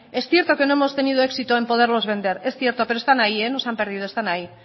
es cierto que no hemos tenido éxito en poderlos vender es cierto pero están ahí no se han perdido están ahí